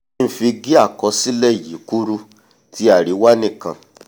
kí n fi gé àkọsílẹ̀ yìí kúrú ti àríwá nìkan